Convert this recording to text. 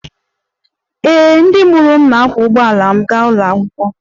Ee, ndị mụrụ m na-akwọ ụgbọala m gaa ụlọ akwụkwọ